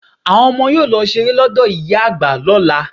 Àwọn ọmọ yóò lọ ṣeré lọ́dọ̀ ìyá àgbà lọla.